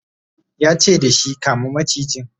yace dashi "kama macijin!